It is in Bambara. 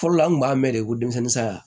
Fɔlɔ la an kun b'a mɛn de ko denmisɛnnin san